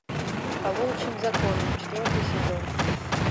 по волчьим законам четвертый сезон